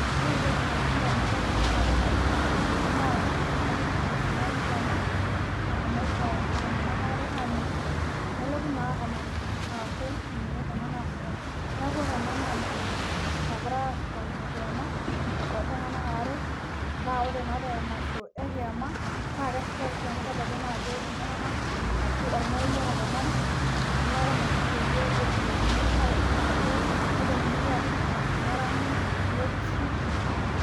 Ore entoki nalotu damunot ainei tenadol ena. naa emasho ena. nashomoito iltunganak aare aaninguno .nelotu naa emasho aaku ninye ena naasitae. neeku ore ena naa emasho nagirae ashipakino kiam ooltunganak aare. naa ore. Naa te masho eki naa keshipae oshi amu kedoli naa ajo iltunganak ashu olmarei otopanari. niaku Ina osho pee etumoki atutumoto. nepuonunui aashipa. neranyi. nekusi.